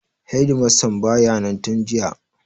Hedimastan ba ya nan tun jiya.